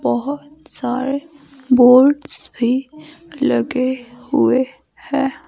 बहुत सारे बोर्ड्स भी लगे हुए हैं।